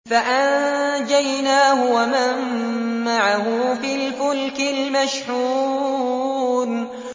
فَأَنجَيْنَاهُ وَمَن مَّعَهُ فِي الْفُلْكِ الْمَشْحُونِ